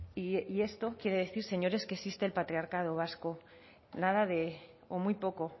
y esto quiere decir señores que existe el patriarcado vasco nada de o muy poco